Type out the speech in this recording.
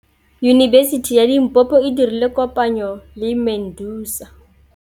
Yunibesiti ya Limpopo e dirile kopanyô le MEDUNSA.